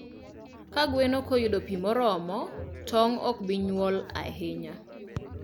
Ka gweno ok oyudo pi moromo, tong' ok bi nyuol ahinya.